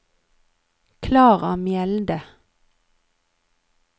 Klara Mjelde